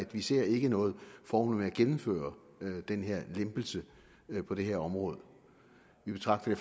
vi ser ikke noget formål med at gennemføre den her lempelse på det her område vi betragter det